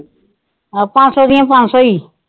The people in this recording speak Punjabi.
ਅਹ ਪੰਜ ਸੋ ਦੀਆ ਪੰਜ ਸੋ ਹੀ।